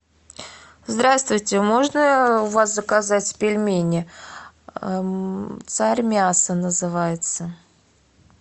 здравствуйте можно у вас заказать пельмени царь мясо называется